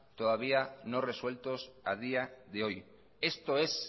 todavía no resueltos a día de hoy esto es